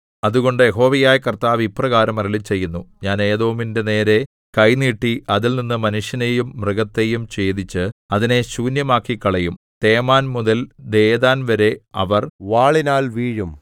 അതുകൊണ്ട് യഹോവയായ കർത്താവ് ഇപ്രകാരം അരുളിച്ചെയ്യുന്നു ഞാൻ ഏദോമിന്റേ നേരെ കൈ നീട്ടി അതിൽനിന്ന് മനുഷ്യനെയും മൃഗത്തെയും ഛേദിച്ച് അതിനെ ശൂന്യമാക്കിക്കളയും തേമാൻ മുതൽ ദേദാൻ വരെ അവർ വാളിനാൽ വീഴും